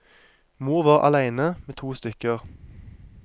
Mor var aleine med to stykker.